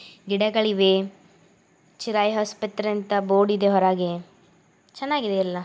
ಗಿಡಗಳಿವೆ. ಚಿರಾಯು ಹಾಸ್ಪತ್ರೆ ಅಂತ ಬೋರ್ಡ್ ಇದೆ ಹೊರಗೆ. ಚೆನ್ನಾಗಿದೆ ಎಲ್ಲಾ .